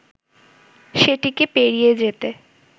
সেটিকে পেরিয়ে যেতে